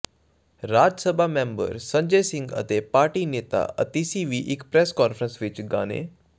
ਰਾਜ Sabha member Sanjay Singh ਅਤੇ party ਨੇਤਾ ਅਤੀਸ਼ੀ ਵੀ ਇੱਕ ਪ੍ਰੈਸ ਕਾਨਫਰੰਸ ਵਿਚ ਗਾਣੇ